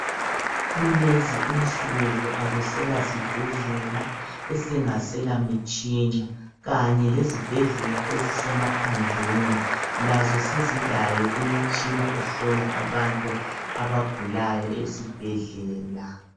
Kulezi insuku akuselasibhedlela esingaselamitshina. Kanye lezibhedlela ezisemaphandleni lazo sezilayo imitshina ehlola abantu abagulayo ezibhedlela.